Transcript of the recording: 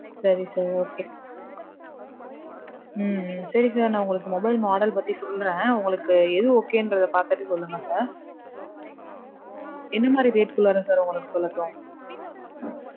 சரி sir, okay. உம் சரி sir. நான் உங்களுக்கு mobile model பத்தி சொல்றேன். உங்களுக்கு எது okay ன்றத பாத்துட்டு சொல்லுங்க sir. எது மாதிரி rate டுக்குள்ளார sir உங்களுக்கு சொல்லட்டும்?